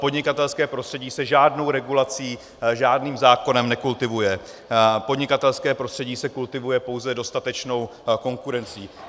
Podnikatelské prostředí se žádnou regulací, žádným zákonem nekultivuje, podnikatelské prostředí se kultivuje pouze dostatečnou konkurencí.